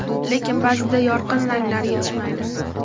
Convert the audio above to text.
Lekin, ba’zida yorqin ranglar yetishmaydi.